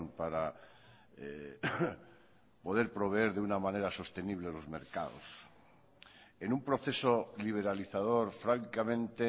para poder proveer de una manera sostenible los mercados en un proceso liberalizador francamente